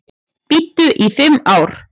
Biðu í fimm ár